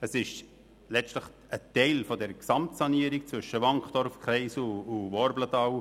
Es ist letztlich ein Teil der Gesamtsanierung zwischen dem Wankdorfkreisel und dem Worblental.